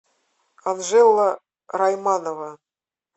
анжела райманова